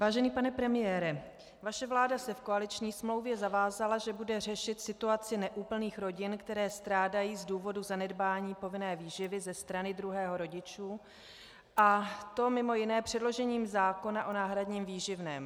Vážený pane premiére, vaše vláda se v koaliční smlouvě zavázala, že bude řešit situaci neúplných rodin, které strádají z důvodu zanedbání povinné výživy ze strany druhého rodiče, a to mimo jiné předložením zákona o náhradním výživném.